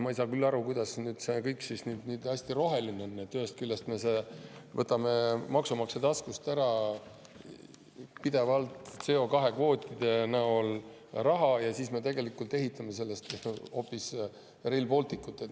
Ma ei saa küll aru, kuidas see kõik nüüd hästi roheline on, kui me võtame maksumaksja taskust pidevalt CO2‑kvootide tõttu raha ära ja siis ehitame selle eest hoopis Rail Balticut.